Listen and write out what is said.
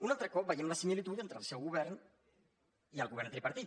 un altre cop veiem la similitud entre el seu govern i el govern tripartit